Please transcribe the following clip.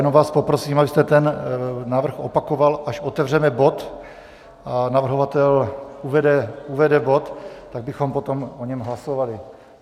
Jenom vás poprosím, abyste ten návrh opakoval, až otevřeme bod a navrhovatel uvede bod, tak bychom o něm potom hlasovali.